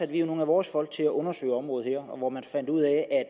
vi nogle af vores folk til at undersøge området her og man fandt ud af at